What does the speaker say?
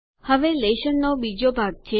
હવે લેશનનો બીજો ભાગ છે